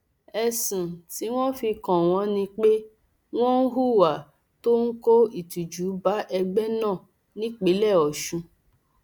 ẹsùn tí wọn fi kàn wọn ni pé wọn ń hùwà tó ń kó ìtìjú bá ẹgbẹ náà nípínlẹ ọsùn